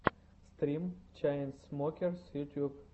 стрим чайнсмокерс ютьюб